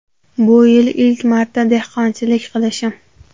Bu yil ilk marta dehqonchilik qilishim.